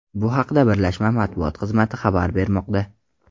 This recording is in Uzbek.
Bu haqda birlashma matbuot xizmati xabar bermoqda.